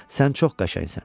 Sən çox qəşəngsən.